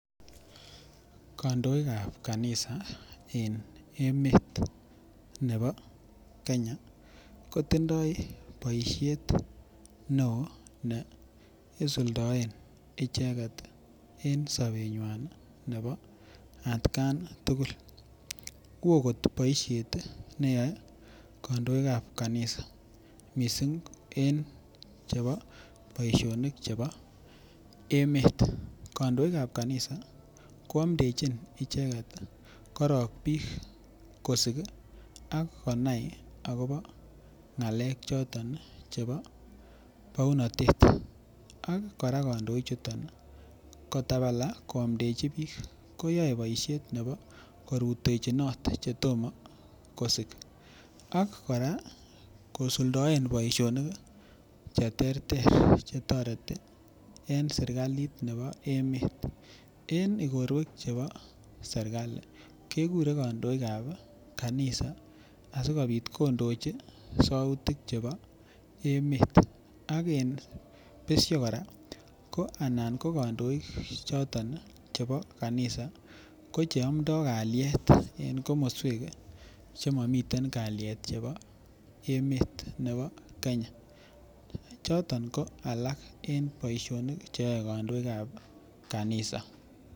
Kandoik ab kanisa en emet nebo Kenya kotindoi boisiet neo ne isuldoen icheget en sobenywa nebo atkan tugul woo kot boisiet ne yoe kandoik ab kanisa mising en chebo boisionik Che bo emet kandoik ab kanisa ko amdechin icheget korok bik kosik ak konai agobo ngalek choton chebo bounatet ak kora kandoichu kotabala koamdechi bik koyoe boisiet nebo korutechinot Che tomo kosik ak kora kosuldaen boisinik Che terter Che toreti en serkalit nebo emet en igorwek chebo serkali kegure kandoik ab kanisa asikobit kondochi sautik chebo emet ak en besio kora ko anan kandoik choton chebo kanisa koche amdo kalyet en komoswek Che momiten kalyet cheu chebo komoswek alak en emet nebo Kenya choton ko alak en boisionik Che yoe kandoik ab kanisa